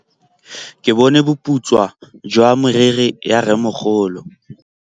Ke bone boputswa jwa meriri ya rrêmogolo.